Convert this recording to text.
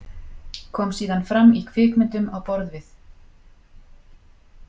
Kom síðan fram í kvikmyndum á borð við.